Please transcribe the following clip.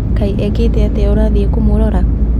Kaĩ ĩkĩte atĩa ũrathii kũmũrora?